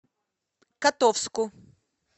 котовску